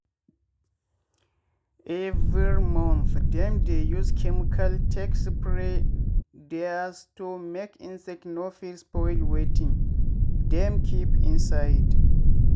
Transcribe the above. every month dem dey use chemical take spray dere store make insect no fit spoil wetin dem keep inside.